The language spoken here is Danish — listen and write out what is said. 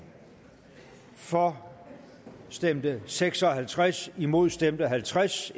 for stemte seks og halvtreds imod stemte halvtreds